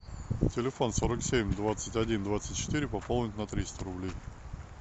телефон сорок семь двадцать один двадцать четыре пополнить на триста рублей